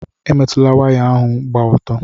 Emetụkwala waya ahụ gba ọtọ!